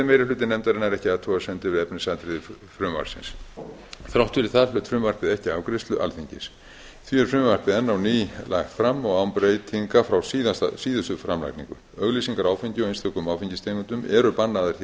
meiri hluti nefndarinnar ekki athugasemdir við efnisatriði frumvarpsins þrátt fyrir það hlaut frumvarpið ekki afgreiðslu alþingis því er frumvarpið enn á ný lagt fram og án breytinga frá síðustu framlagningu auglýsingar á áfengi og einstökum áfengistegundum eru bannaðar hér á